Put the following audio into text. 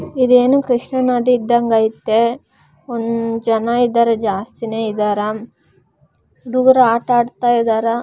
Lorry bus ಗಳು ಹೋಗುತ್ತಾಯಿದೆ. ಈ ಸೇಥವೇ ಅಡಿಯಲ್ಲಿ ತುಂಬಾ ಜನರು ನಿಂತಿಕೊಂಡಿದ್ದಾರೆ.